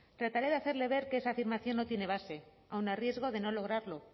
trataré de hacerle ver que esa afirmación no tiene base aun a riesgo de no lograrlo